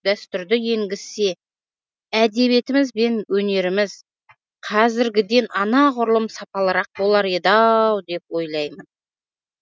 дәстүрді енгізсе әдебиетіміз бен өнеріміз қазіргіден анағұрлым сапалырақ болар еді ау деп ойлаймын